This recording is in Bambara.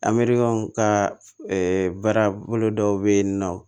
An mɛrikɛnw ka baara bolo dɔw bɛ yen nɔ